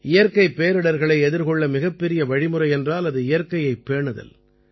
இயற்கைப் பேரிடர்களை எதிர்கொள்ள மிகப்பெரிய வழிமுறை என்றால் அது இயற்கையைப் பேணுதல்